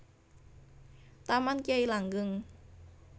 Taman Kyai Langgeng